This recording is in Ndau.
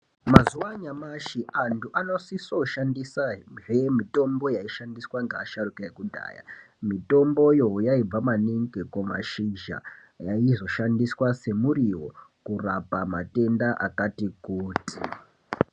Mazuwa anyamashi antu anosisoshandisazve mitombo yaishandiswa ngeasharuka ekudhaya. Mitomboyo yaibva maningi kumashizha yaizoshandiswa semuriwo kurapa matenda akati kuti.